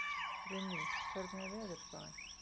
Runný, hvernig er veðurspáin?